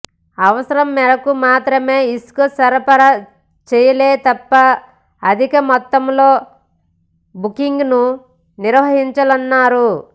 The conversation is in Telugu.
అవసరం మేరకు మాత్రమే ఇసుక సరఫరా చేయాలేతప్ప అధిక మొత్తంలో బుకింగ్లను నివారించాలన్నారు